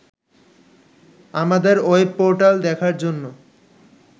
আমাদের ওয়েবপোর্টাল দেখার জন্য